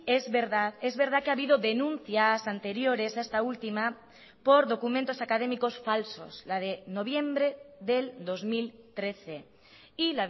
es verdad es verdad que ha habido denuncias anteriores a esta última por documentos académicos falsos la de noviembre del dos mil trece y